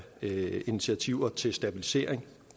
initiativer til stabilisering